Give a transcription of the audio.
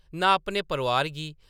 नां अपने परोआर गी।